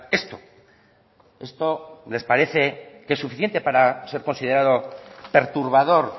esto esto les parece que es suficiente para ser considerado perturbador